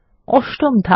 অষ্টম ধাপ